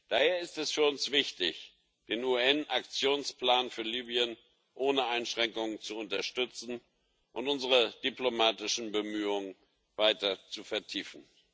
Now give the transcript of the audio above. Daher ist es für uns wichtig, den UN Aktionsplan für Libyen ohne Einschränkung zu unterstützen und unsere diplomatischen Bemühungen weiter zu vertiefen.